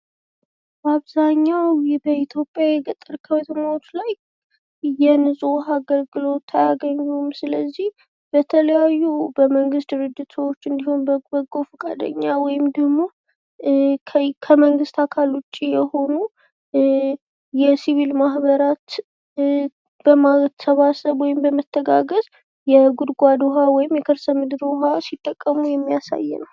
አብዛኛው በኢትዮጵያ የገጠር አካባቢዎች ላይ የንጹህ ዉሀ አገልግሎት አያገኙም ስለዚህ በተለያዩ በመንግት ድርጅቶች ወይም ደግሞ በበጎ ፈቃደኛ ወይም ደግሞ ከመንግስት አካል ውጭ የሆኑ የሲቪል ማህበራት በማሰባሰብ ወይም በመተጋገዝ የጉድጓድ ውሃ ሲጠቀሙ የሚያሳይ ነው።